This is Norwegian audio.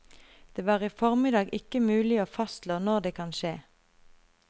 Det var i formiddag ikke mulig å fastslå når det kan skje.